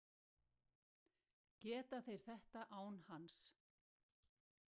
Geta þeir þetta án hans?